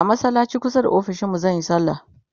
a masallacin kusa da ofishinmu zanyi sallah